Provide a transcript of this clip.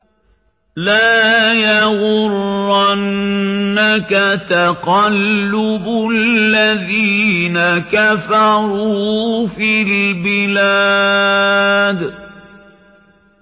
لَا يَغُرَّنَّكَ تَقَلُّبُ الَّذِينَ كَفَرُوا فِي الْبِلَادِ